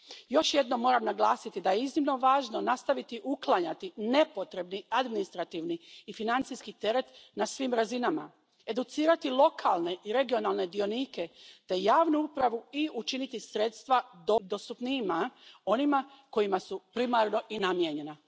Još jednom moram naglasiti da je iznimno važno nastaviti uklanjati nepotrebni administrativni i financijski teret na svim razinama, educirati lokalne i regionalne dionike te javnu upravu i učiniti sredstva dostupnijima onima kojima su primarno i namijenjena.